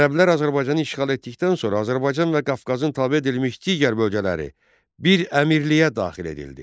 Ərəblər Azərbaycanı işğal etdikdən sonra Azərbaycan və Qafqazın tabe edilmiş digər bölgələri bir əmirliyə daxil edildi.